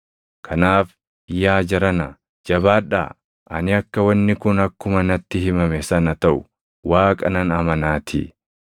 Kanaaf yaa jarana jabaadhaa! Ani akka wanni kun akkuma natti himame sana taʼu Waaqa nan amanaatii.